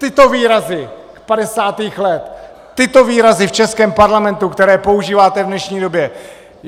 Tyto výrazy z 50. let, tyto výrazy v českém parlamentu, které používáte v dnešní době.